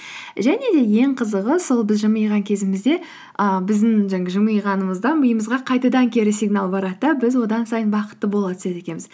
және де ең қызығы сол біз жымиған кезімізде і біздің жаңағы жымиғанымыздан миымызға қайтадан кері сигнал барады да біз одан сайын бақытты бола түседі екенбіз